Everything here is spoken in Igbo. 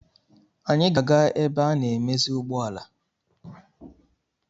Anyị ga-aga ebe ana-emezi ụgbọala.